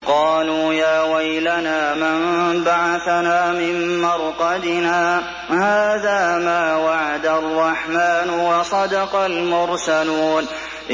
قَالُوا يَا وَيْلَنَا مَن بَعَثَنَا مِن مَّرْقَدِنَا ۜۗ هَٰذَا مَا وَعَدَ الرَّحْمَٰنُ وَصَدَقَ الْمُرْسَلُونَ